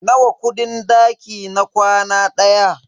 Nawa kudin daki na kwana ɗaya?